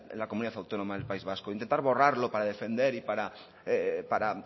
la comunidad autónoma del país vasco intentar borrarlo para defender y para